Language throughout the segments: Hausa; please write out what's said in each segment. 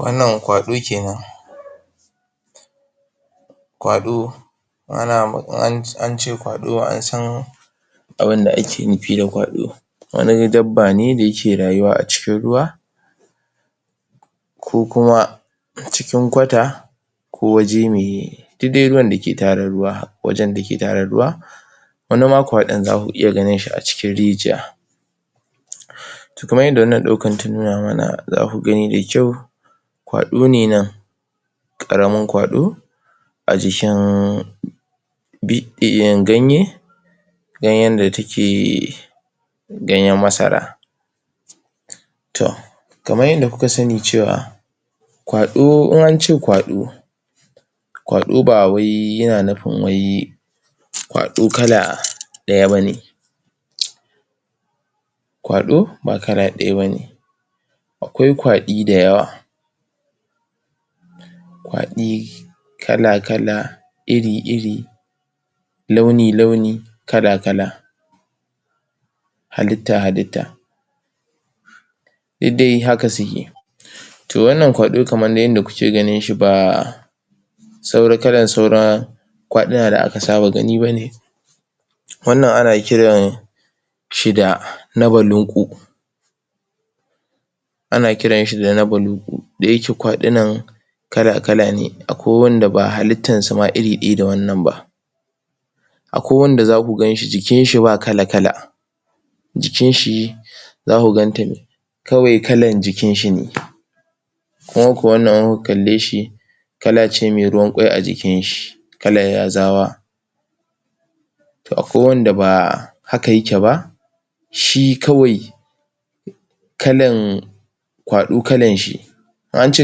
Wannan kwaɗo kenan Kwado ana ma ance kwaɗo an san abun da ake nufi da kwaɗo wani dabba ne da yake rayuwa a cikin ruwa ko kuma a cikin kwata ko waje mai duk dai wurin dake tara ruwa wajen dake tara ruwa wani ma kwaɗon zaka iya ganin shi a cikin? kamar yadda wannan ɗaukan ta nuna mana za ku gani da kyau kwaɗo ne nan ƙaramin kwaɗo a jikin be ehhh ganye ganyen da take ganyen masara to kamar yadda kuka sani cewa kwaɗo in an ce kwaɗo kwaɗo ba wai yana nufin wai kwaɗo kala daya bane? kwaɗo ba kala ɗaya bane akwai kwaɗi da yawa kwaɗii kala kala iri iri launi launi kala kala halitta halitta duk dai haka suke to wannan kwaɗo kamar yadda kuke gani baa saua kalan saura kwaɗudan da aka saba gani bane wannan ana kiran shi da na balunƙu ana kiran shi da nabalunƙu da yake kwaɗunan kala kala ne akwai wanda ba halittan su ma iri ɗaya da wannan ba akwai wanda za ka ga jikin shi ba kala kala jikin shi za ku ganta ne kawai kalan jikin shi ne kunga ko wannan in kuka kalle shi kala ce mai ruwanƙwai a jikin shi kalar yazawa to akwai wanda ba haka yake ba shi kawai kalan kwaɗo kalan shi ance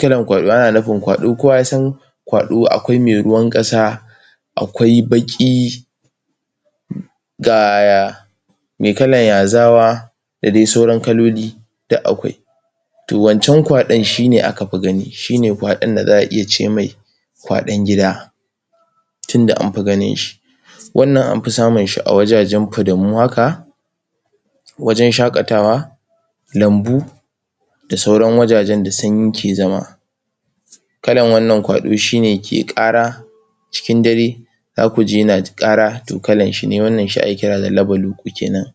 kalar kwaɗo ana nufin kwaɗo kowa ya san kwaɗo akwai mai ruwan ƙasa akwai baƙi ehm gaa mai kalar yazawa da dai sauran kaloli duk akwai to wancan kwaɗon shine aka fi gani shine kwaɗon da za a iya ce mai kwaɗon gida tunda anfi ganin shi wannan amfi samun shi a wajajen fadamu haka wajen shaƙatawa lambu da sauran wajajen da sanyi ke zama kalan wannan kwaɗo shine ke ƙara cikin dare za ku ji yana ƙara to kalan shi ne wannan shi ake kira da nabaluƙu kenan.